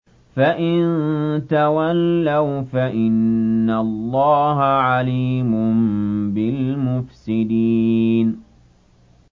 فَإِن تَوَلَّوْا فَإِنَّ اللَّهَ عَلِيمٌ بِالْمُفْسِدِينَ